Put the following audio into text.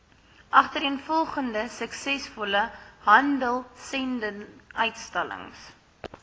agtereenvolgende suksesvolle handelsendinguitstallings